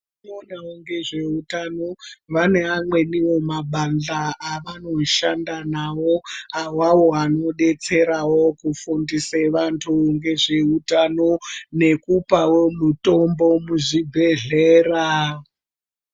Vanoonawo ngezveutano vane amweniwo mabadhla avanoshanda nawo, awawo anodetserawo kufundise vantu ngezveutano, nekupawo mutombo muzvibhedhlera.